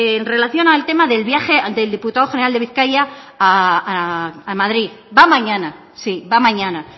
en relación al tema del viaje del diputado general de bizkaia a madrid va mañana sí va mañana